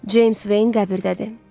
James Vayn qəbirdədir.